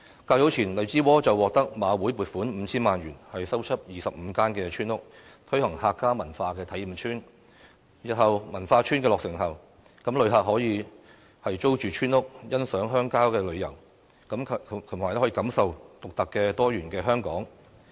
較早前，荔枝窩獲得馬會撥款 5,000 萬元，修葺25間村屋，推行"客家文化體驗村"，日後文化村落成後，旅客可以租住村屋，欣賞鄉郊風景，感受獨特多元的香港。